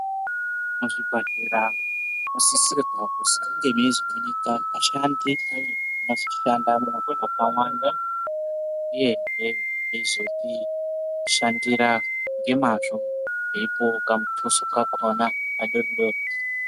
Muzvibhadhlera munosisirwa kuzi munge meizoonekwa ashandi anozoshandamwo akawanda uyehe eizotishandira ngemazvo eipuwawo kamutuso kakhona kadori dori.